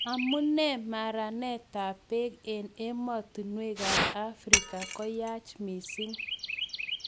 Amu nee maranetab beek eng emotinwekab Afrika koyaach mising?